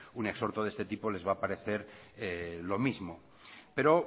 un exhorto de este tipo les va a parecer lo mismo pero